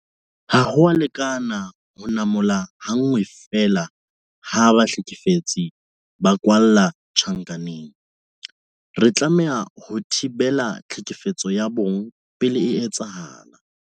Ha ho a lekana ho namola ha nngwe feela ha bahlekefetsi ba kwalla tjhankaneng. Re tlameha ho thibela tlhekefetso ya bong pele e etsahala.